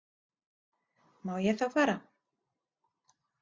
Má ég þá fara?